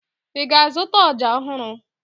Ị ga-azụta ọja ọhụrụ?